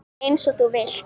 Eins og þú vilt.